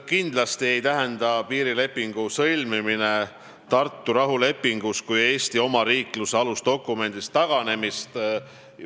Kindlasti ei tähenda piirilepingu sõlmimine Tartu rahulepingust kui Eesti omariikluse alusdokumendist taganemist.